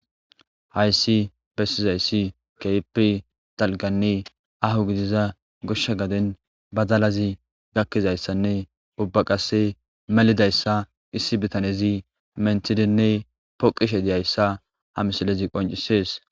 Hayssi bessizayssi keehipi dalganne aaho gidiza goshsha gaden badalazi gakkizayssanne ubba qasse melidayssa issi bitanezi menthidinne poqishe diyayssa ha misilezi qoncisees.